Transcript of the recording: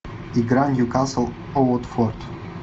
игра ньюкасл уотфорд